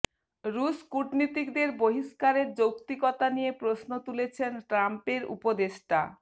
রুশ কূটনীতিকদের বহিস্কারের যৌক্তিকতা নিয়ে প্রশ্ন তুলেছেন ট্রাম্পের উপদেষ্টা